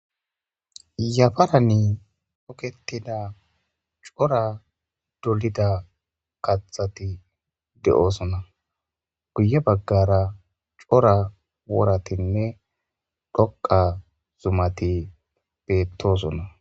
Yafaran toketida cora dolida kaththati de'osona. Guye baggara cora woratinne dhoqqa zumati beettosona.